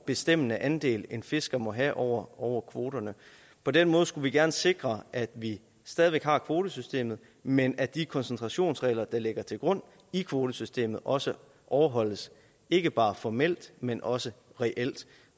bestemmende andel en fisker må have over over kvoterne på den måde skulle vi gerne sikre at vi stadig væk har kvotesystemet men at de koncentrationsregler der ligger til grund i kvotesystemet også overholdes ikke bare formelt men også reelt